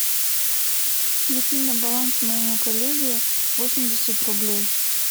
закинь на баланс моему коллеге восемьдесят рублей